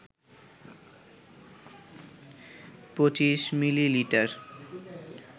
২৫ millilitre